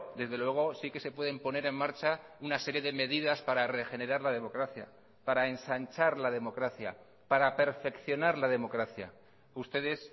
desde luego sí que se pueden poner en marcha una serie de medidas para regenerar la democracia para ensanchar la democracia para perfeccionar la democracia ustedes